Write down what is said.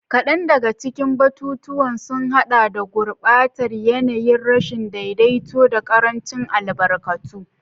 Kadan daga cikin batutuwan sun hada da gurbatar yanayi, rashin daidaito, da karancin albarkatu.